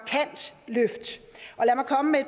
komme med